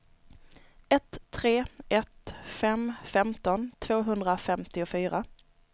ett tre ett fem femton tvåhundrafemtiofyra